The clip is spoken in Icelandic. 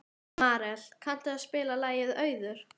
Marel, kanntu að spila lagið „Auður“?